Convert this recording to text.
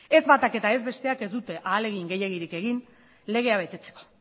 ez batak ez besteak ez dute ahalegin gehiegirik egin legea betetzeko